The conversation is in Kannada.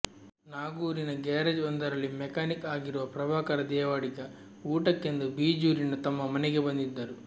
ನಾಗೂರಿನ ಗ್ಯಾರೇಜ್ ಒಂದರಲ್ಲಿ ಮ್ಯಾಕ್ಯಾನಿಕ್ ಆಗಿರುವ ಪ್ರಭಾಕರ ದೇವಾಡಿಗ ಊಟಕ್ಕೆಂದು ಬಿಜೂರಿನ ತಮ್ಮ ಮನೆಗೆ ಬಂದಿದ್ದರು